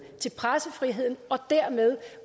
til pressefriheden og dermed